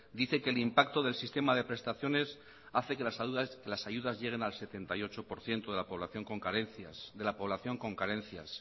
dice que el impacto del sistema de prestaciones hace que las ayudas lleguen al setenta y ocho por ciento de la población con carencias